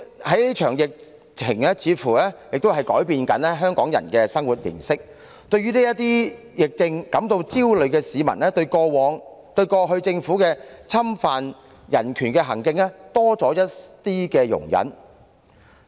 這場疫情似乎亦正在改變香港人的生活形式，對疫症感到焦慮的市民，對於政府過去侵犯人權的行徑多了一絲容忍。